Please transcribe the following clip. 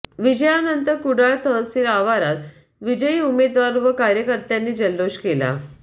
विजयानंतर कुडाळ तहसील आवारात विजयी उमेदवार व कार्यकर्त्यांनी जल्लोष केला